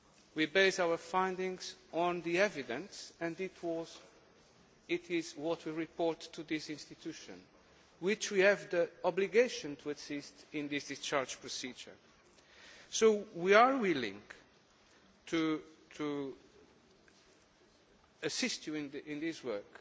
We base our findings on the evidence and it is what we report to this institution, which we have the obligation to assist in this discharge procedure. We are willing to assist you in this work